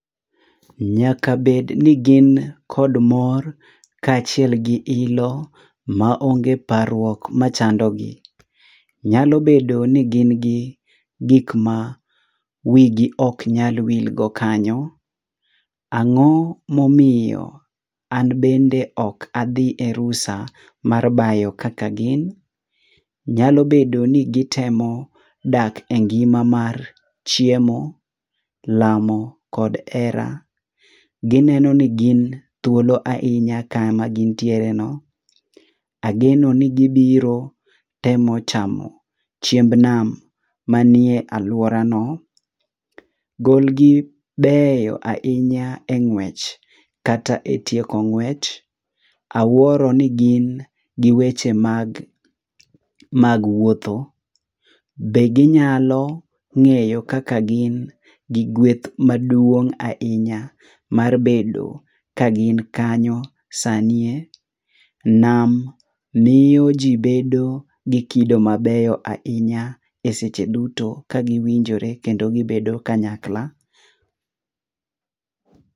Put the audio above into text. N